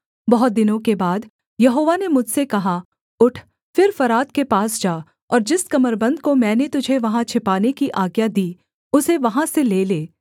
बहुत दिनों के बाद यहोवा ने मुझसे कहा उठ फिर फरात के पास जा और जिस कमरबन्द को मैंने तुझे वहाँ छिपाने की आज्ञा दी उसे वहाँ से ले ले